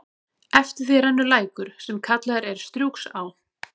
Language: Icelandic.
Eftir því rennur lækur, sem kallaður er Strjúgsá.